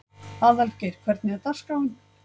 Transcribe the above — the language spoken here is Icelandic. Aðalgeir, hvernig er dagskráin?